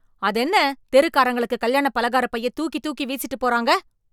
அதென்ன தெருக்காரங்களுக்கு கல்யாண பலகாரப் பைய தூக்கி தூக்கி வீசிட்டுப் போறாங்க.